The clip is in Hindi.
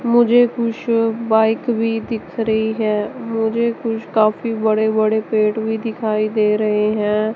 मुझे कुछ बाइक भी दिख रही है मुझे कुछ काफी बड़े बड़े पेड़ भी दिखाई दे रहे हैं।